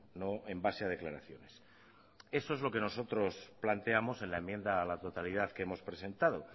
no en base a declaraciones eso es lo que nosotros planteamos en la enmienda a la totalidad que hemos presentado